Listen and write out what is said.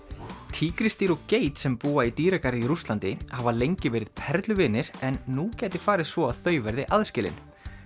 tígrisdýr og geit sem búa í dýragarði í Rússlandi hafa lengi verið perluvinir en nú gæti farið svo að þau verði aðskilin